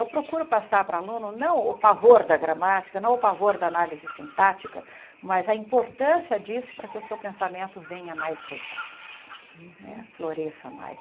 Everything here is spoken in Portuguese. Eu procuro passar para aluno não o pavor da gramática, não o pavor da análise sintática, mas a importância disso para que o seu pensamento venha mais rico, eh floresça mais.